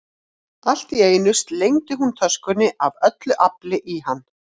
Allt í einu slengdi hún töskunni af öllu afli í hann.